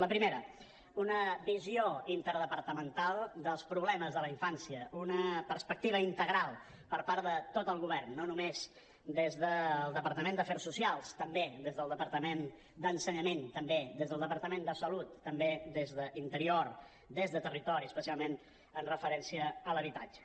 la primera una visió interdepartamental dels problemes de la infància una perspectiva integral per part de tot el govern no només des del departament d’afers socials també des del departament d’educació també des del departament de salut també des d’interior des de territori especialment amb referència a l’habitatge